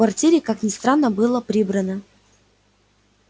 в квартире как ни странно было прибрано